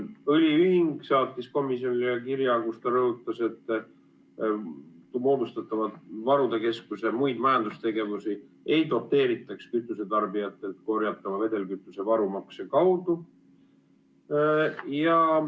Õliühing saatis komisjonile kirja, kus ta rõhutas, et moodustatava varude keskuse muid majandustegevusi ei doteeritaks kütusetarbijatele vedelkütuse varumakse kaudu.